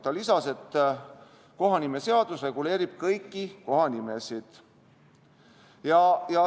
Ta lisas, et kohanimeseadus reguleerib kõiki kohanimesid.